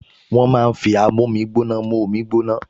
Wọ́n máa ń fi amómígbóná mú omi gbóná